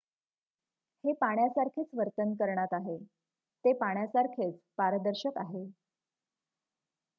"""हे पाण्यासारखेच वर्तन करणात आहे ते पाण्यासारखेच पारदर्शक आहे.